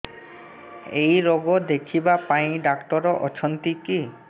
ଏଇ ରୋଗ ଦେଖିବା ପାଇଁ ଡ଼ାକ୍ତର ଅଛନ୍ତି କି